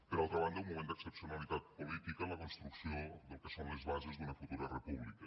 per altra banda un moment d’excepcionalitat política en la construcció del que són les bases d’una futura república